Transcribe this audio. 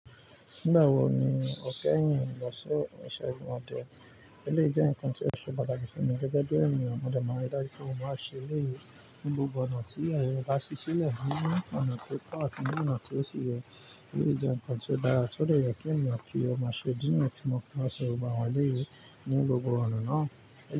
Nígbà wo ni o kẹ́yìn lọ sí isẹ́gun ọdé? Eléyìí jẹ́ nǹkan tí ó ṣe pàtàkì fún mi gẹ́gẹ́ bí ẹniyan mọ dé máa ń rí dájú pé mo máa ń ṣe eléyìí ní gbogbo ọ̀nà tí aye re bá sì sì lẹ ní ona ti o to àtí ní ọ̀nà tí ó sì yẹ. Elé jẹ́ nǹkan tí ó dára tó dè jẹ́ kí èèyàn mọ̀ pé ó máa ṣe idí ni tì mọ̀ máà nse gbogbo awon eléyìí ní gbogbo ọ̀nà náà.